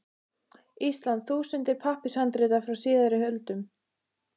Íslands þúsundir pappírshandrita frá síðari öldum.